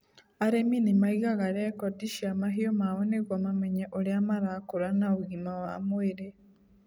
Arĩmi nĩ maigaga rekondi cia mahiũ mao nĩguo mamenye ũrĩa marakũra na ũgima wa mwĩrĩ.